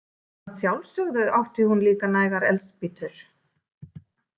Að sjálfsögðu átti hún líka nægar eldspýtur.